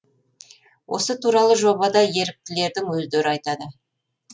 осы туралы жобада еріктілердің өздері айтады